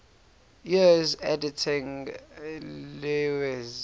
years editing lewes's